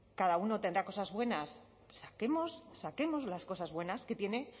cada uno tendrá cosas buenas saquemos las cosas buenas que tienen